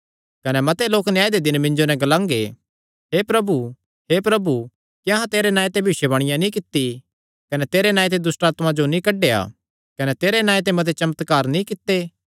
कने मते लोक न्याय दे दिन मिन्जो नैं ग्लांगे हे प्रभु हे प्रभु क्या अहां तेरे नांऐ ते भविष्यवाणी नीं कित्ती कने तेरे नांऐ ते दुष्टआत्मां जो नीं कड्डेया कने तेरे नांऐ ते मते चमत्कार नीं कित्ते